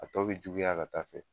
A tɔ bi juguya ka taa fɛ.